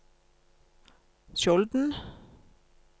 Skjolden